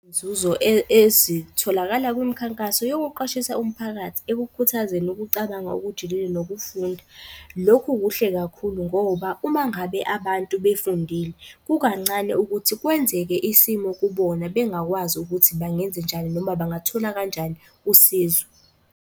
Nzuzo ezitholakala kwimikhankaso yokuqwashisa umphakathi ekukhuthazeni ukucabanga okujulile nokufunda. Lokhu kuhle kakhulu ngoba uma ngabe abantu befundile, kukancane ukuthi kwenzeke isimo kubona bengakwazi ukuthi bangenzenjani noma bangathola kanjani usizo.